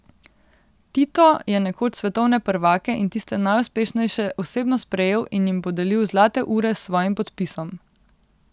Tito je nekoč svetovne prvake in tiste najuspešnejše osebno sprejel in jim podelil zlate ure s svojim podpisom.